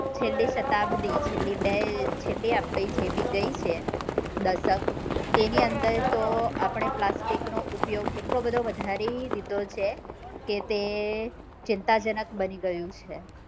છેલ્લી સતાબ્દી છેલ્લી બે જેબી આપડી ગઈ છે દશક તેની અંદર તો આપડે પ્લાસ્ટિક નો ઉપયોગ એટલો બધો વધારી દીધો છે કે તે ચિંતાજનક બની ગયું છે